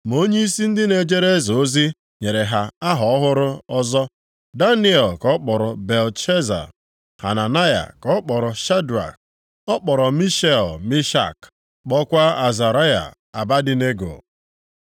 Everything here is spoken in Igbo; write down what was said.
Ma onyeisi ndị na-ejere eze ozi nyere ha aha ọhụrụ ọzọ Daniel ka ọ kpọrọ Belteshaza; Hananaya ka ọ kpọrọ Shedrak; ọ kpọrọ Mishael, Mishak; kpọkwa Azaraya, Abednego.